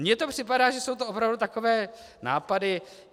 Mně to připadá, že jsou to opravdu takové nápady...